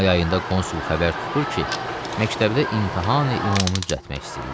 May ayında konsul xəbər tutur ki, məktəbdə imtahan-ümumi düzəltmək istəyirlər.